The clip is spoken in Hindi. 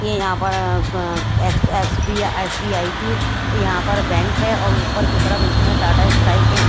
ये यहां अ क पर एस बी एसबीआई की यहां पर बैंक है और ऊपर की तरफ इसमें टाटा स्काई के--